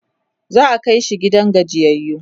za'a Kai shi gidan gajiyayyu